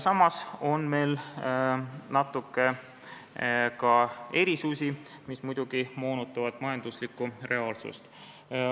Samas on meil natuke ka erisusi, mis muidugi moonutavad majanduslikku reaalsust.